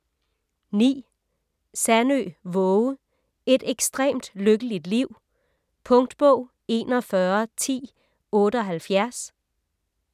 Sandø, Waage: Et ekstremt lykkeligt liv Punktbog 411078